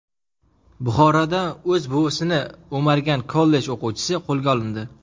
Buxoroda o‘z buvisini o‘margan kollej o‘quvchisi qo‘lga olindi.